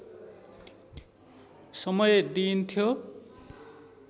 समय दिइन्थ्यो